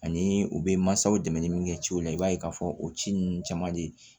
Ani u bɛ mansaw dɛmɛ ni min kɛ ciw la i b'a ye k'a fɔ o ci ninnu caman de